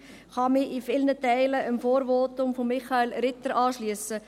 Ich kann mich in vielen Teilen dem Votum von Michael Ritter anschliessen.